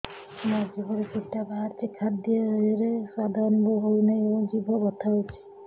ମୋ ଜିଭରେ କିଟା ବାହାରିଛି ଖାଦ୍ଯୟରେ ସ୍ୱାଦ ଅନୁଭବ ହଉନାହିଁ ଏବଂ ଜିଭ ବଥା ହଉଛି